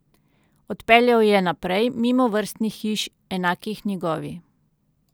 Odpeljal je naprej, mimo vrstnih hiš, enakih njegovi.